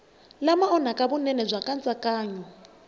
lama onhaka vunene bya nkatsakanyo